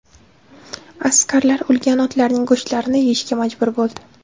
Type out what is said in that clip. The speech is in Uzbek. Askarlar o‘lgan otlarning go‘shtlarini yeyishga majbur bo‘ldi.